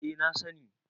eh na sani